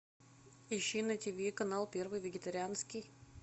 ищи на тв канал первый вегетарианский